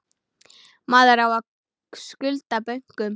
Maður á að skulda bönkum.